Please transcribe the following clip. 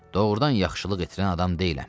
doğrudan yaxşılıq edən adam deyiləm.